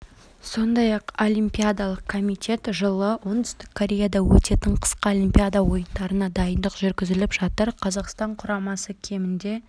сондай-ақ олимпиадалық комитет жылы оңтүстік кореяда өтетін қысқы олимпиада ойындарына дайындық жүргізіп жатыр қазақстан құрамасы кемінде